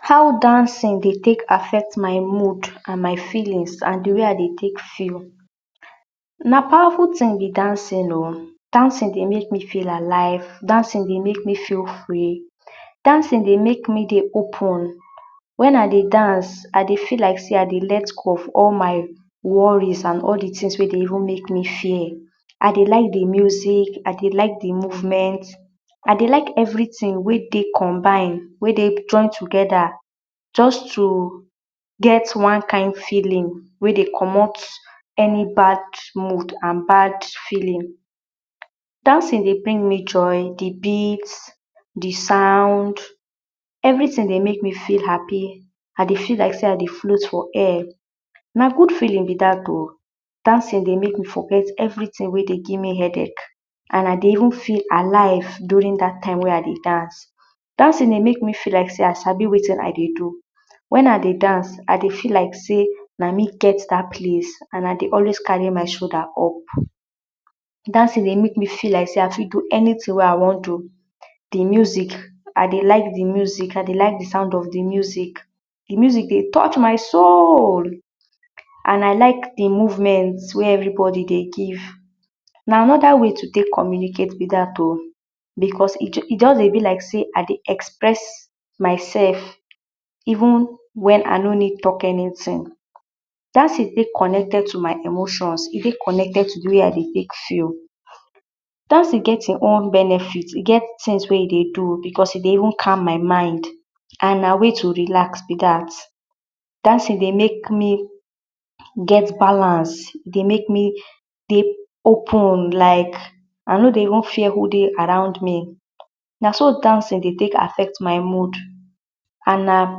How dancin dey take affect my mood and my feelins, and di wey I dey take feel? Na pawaful tin be dancin o and dancing dey make me feel alive, dancing dey make me feel free, dancing dey make me dey open wen I dey dance, I dey feel like sey, I dey left off all my woris, all di tins wey dey make me fear, I dey like di muzik, I dey like di movement, I dey like everi tin wey dey conbine, wey dey togeda, just to get one kind feeling wey dey comot eni bad mood and bad feelin. Dancing dey give me joy, di beat, di sound, everi tin dey make me hapi, I dey see like sey I dey flow for air. Na good feelin be dat o, dancing dey make me forget everi tin wey dey give me hedache and I dey even feel alive durin dat time wey I dey dance, dancing dey make me feel like sey, I sabi wetin I dey do. Wen I dey dance, I dey feel like sey na me get dat place. I dey always kari my shoulda up, dancing dey make me feel like sey I fit do entin wey I wan do. Di muzik, I dey like di muzik di sound of di muzik, di muzik dey touch my soul! And I like di movement wey everi bodi dey give, na anoda way to take communicate be dat o. bicos e just dey be like sey, I dey express mysef, even wen I need talk enitin. Dancing fit connected to my emoshon, e fit connected to di wey idey take feel. Dancing get e own benefit, e get e own tin wey e dey do bicos e dey even calm my mind. And my way to relax be dat, dancing dey make me fit get balance, e dey make me dey open like, I no dey even fear who dey around me. Na so dancing dey take affect my mood and na….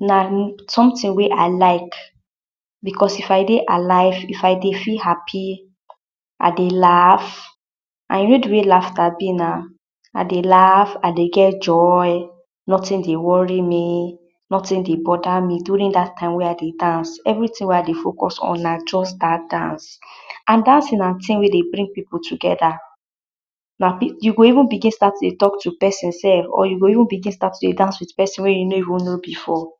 na…. somtin wey I like, bicos I dey dey alive, I dey feel hapi, I dey and you know di way lafta be na. I dey laf, I dey get joy, notin dey wori me, notin dey boda me durin dat tIme wey I dey dance, everi tin wey I dey focus on na just dat dance and dancing na tin wey dey bring pipu togeda, you go even start to dey talk to pesin sef, you go even bigin stat to dey dance with pesin wey you no even know before.